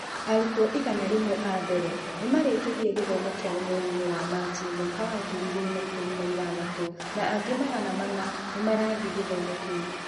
Arutwo igana rĩmwe a mbere nĩ marĩkirie gĩthomo kĩao mweri-inĩ wa Machi mwaka wa ngiri igĩrĩ na ikũmi na ithathatũ, na angĩ magana mana nĩ marathiĩ gĩthomo kĩu.